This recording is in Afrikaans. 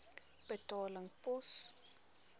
betaling pos